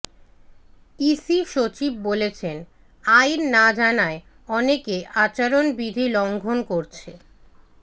EC সচিব বলেছেন আইন না জানায় অনেকে আচরণবিধি লঙ্ঘন করছে